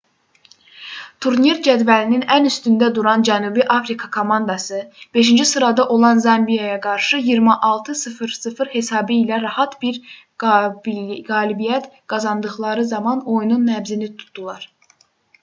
turnir cədvəlinin ən üstündə duran cənubi afrika komandası 5-ci sırada olan zambiyaya qarşı 26:00 hesabı ilə rahat bir qalibiyyət qazandıqları zaman oyunun nəbzini tutdular